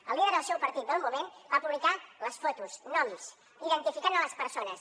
el líder del seu partit del moment va publicar fotos noms identificant les persones